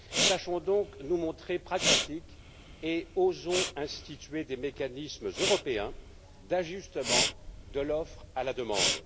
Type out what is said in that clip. Sachons donc nous montrer pragmatiques et osons instituer des mécanismes européens d'ajustement de l'offre à la demande.